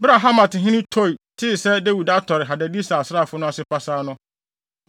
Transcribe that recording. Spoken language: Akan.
Bere a Hamathene Tou tee sɛ Dawid atɔre Hadadeser asraafo no ase pasaa no,